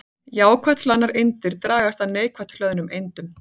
Jákvætt hlaðnar eindir dragast að neikvætt hlöðnum eindum.